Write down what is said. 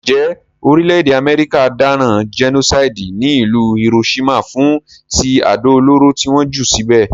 Njé orílẹ̀dè America dáràn genocide ní ìlú Hiroshima fún ti àdó olóró ti won jù síbè